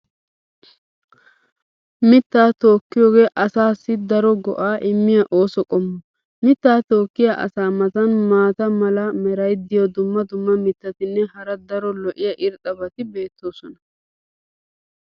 mitaa tokkiyoogee asaassi daro go'aa immiya ooso qommo. mitaa tokkiya asaa matan maata mala meray diyo dumma dumma mitatinne hara daro lo'iya irxxabati beetoosona.